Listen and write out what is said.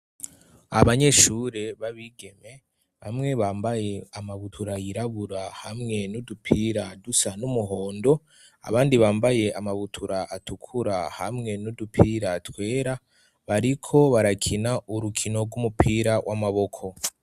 Abanyeshuri b'abigeme bamwe bambaye amabutura yirabura hamwe n'udupira dusa n'umuhondo abandi bambaye amabutura atukura hamwe n'udupira twera. Bariko barakina urukino rw'umupira w'amaboko.